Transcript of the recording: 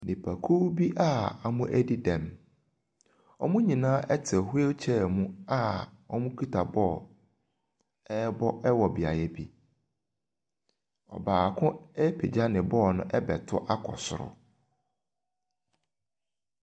Nnipakuo bi a wɔadi dɛm. Wɔn nyinaa te wheelchair mu a wɔkita bɔɔl wɔ beaeɛ bi. Ɔbaako apagya ne bɔɔl no ɛrebɛto akɔ soro.